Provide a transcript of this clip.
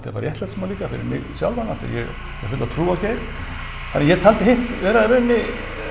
bara réttlætismál líka fyrir mig sjálfan af því að ég hef fulla trú á Geir þannig að ég taldi hitt vera í raun